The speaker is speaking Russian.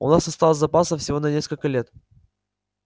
у нас осталось запасов всего на несколько лет